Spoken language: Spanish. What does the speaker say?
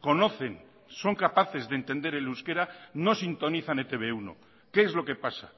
conocen son capaces de entender el euskera no sintonizan e te be uno qué es lo que pasa